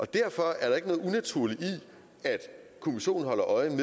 derfor er der ikke noget unaturligt i at kommissionen holder øje